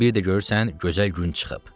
Bir də görürsən gözəl gün çıxıb.